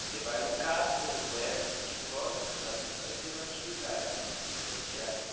Você vai no Caps, conhece psicólogos, ali você vai tendo atividades né, psicossociais.